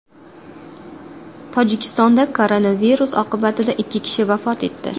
Tojikistonda koronavirus oqibatida ikki kishi vafot etdi.